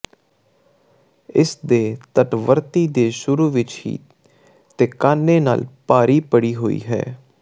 ਇਸ ਦੇ ਤੱਟਵਰਤੀ ਦੇ ਸ਼ੁਰੂ ਵਿਚ ਹੀ ਤੇ ਕਾਨੇ ਨਾਲ ਭਾਰੀ ਭਰੀ ਹੋਈ ਹੈ